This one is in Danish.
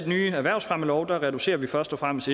nye erhvervsfremmelov reducerer vi først og fremmest